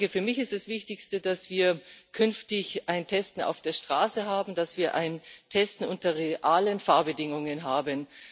Für mich ist das Wichtigste, dass wir künftig ein Testen auf der Straße haben, dass wir ein Testen unter realen Fahrbedingungen haben.